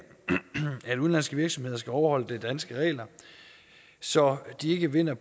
at udenlandske virksomheder skal overholde de danske regler så de ikke vinder